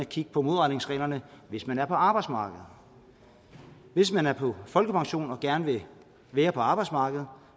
kigge på modregningsreglerne hvis man er på arbejdsmarkedet hvis man er på folkepension og gerne vil være på arbejdsmarkedet